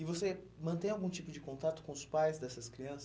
E você mantém algum tipo de contato com os pais dessas crianças?